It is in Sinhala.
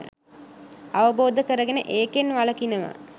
අවබෝධ කරගෙන ඒකෙන් වළකිනවා.